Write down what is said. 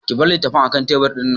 Ka bar litattafan akan tebur ɗin!